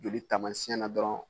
De bi taamasiɲɛn na dɔrɔn